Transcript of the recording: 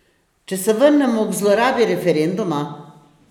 Če se vrnemo k zlorabi referenduma?